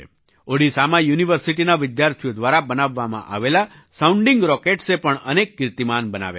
ઓડિશામાં યુનિવર્સિટીના વિદ્યાર્થીઓ દ્વારા બનાવવામાં આવેલા સાઉન્ડિંગ rocketsએ પણ અનેક કીર્તિમાન બનાવ્યા છે